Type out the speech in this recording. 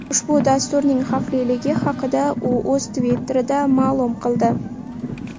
Ushbu dasturning xavfliligi haqida u o‘z Twitter’ida ma’lum qildi .